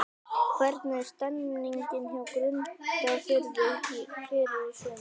Hvernig er stemningin hjá Grundarfirði fyrir sumarið?